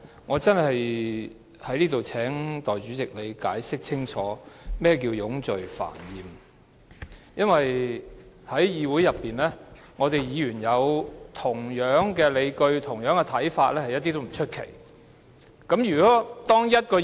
我想在此請代理主席清楚解釋何謂冗贅煩厭，因為在議會內，議員有相同的理據和看法，並非甚麼奇怪的事。